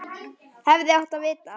Hefði átt að vita það.